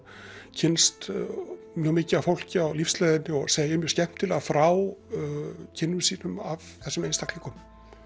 kynnst mjög mikið af fólki á lífsleiðinni og segir mjög skemmtilega frá kynnum sínum af þessum einstaklingum